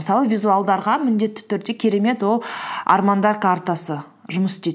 мысалы визуалдарға міндетті түрде керемет ол армандар картасы жұмыс істейді